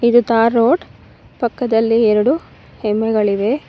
ಇದು tar road ಪಕ್ಕದಲ್ಲಿ ಎರಡು ಹೆಮ್ಮೆಗಳಿವೆ.